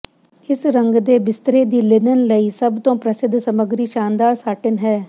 ਇਸ ਰੰਗ ਦੇ ਬਿਸਤਰੇ ਦੀ ਲਿਨਨ ਲਈ ਸਭ ਤੋਂ ਪ੍ਰਸਿੱਧ ਸਮੱਗਰੀ ਸ਼ਾਨਦਾਰ ਸਾਟਿਨ ਹੈ